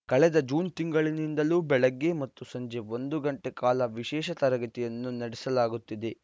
ಕಳೆದ ಜೂನ್‌ ತಿಂಗಳಿನಿಂದಲೂ ಬೆಳಗ್ಗೆ ಮತ್ತು ಸಂಜೆ ಒಂದು ಗಂಟೆ ಕಾಲ ವಿಶೇಷ ತರಗತಿಯನ್ನು ನಡೆಸಲಾಗುತ್ತಿದೆ